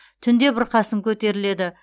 түнде бұрқасын көтеріледі